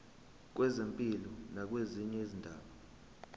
kwezempilo nakwezinye izindaba